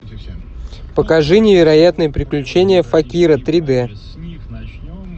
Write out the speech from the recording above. покажи невероятные приключения факира три дэ